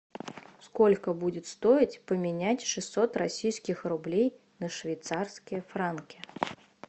сколько будет стоить поменять шестьсот российских рублей на швейцарские франки